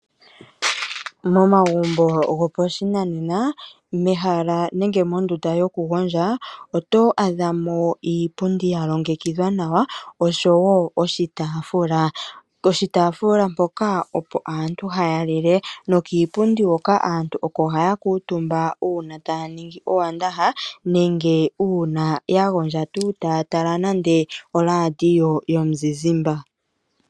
Momagumbo gopashinanena, mehala nenge mondunda yokugondja oto adha mo iipundi ya longekidhwa nawa oshowo oshitaafula. Poshitaafula mpoka opo aantu ohaya lile. Nokiipundi hoka aantu oko haya kuutumbwa uuna taya ningi owandaha nenge uuna ya gondja tuu taya tala nande oRadio yomuzizimba.